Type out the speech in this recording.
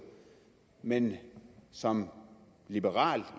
men som liberal